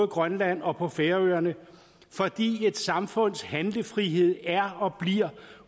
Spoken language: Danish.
grønland og på færøerne fordi et samfunds handlefrihed er og bliver